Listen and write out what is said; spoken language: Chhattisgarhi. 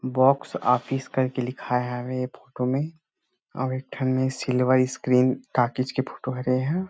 बॉक्स ऑफिस कर के लिखाए हवे फोटो में औउ एक ठन में सिल्वर स्क्रीन टाकिज के फोटो हरे ह --